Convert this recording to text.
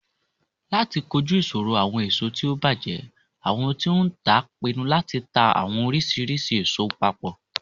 Lati koju iṣoro awọn eso ti o bajẹ, awọn ti o ntaa pinnu lati ta awọn oriṣiriṣi eso papọ.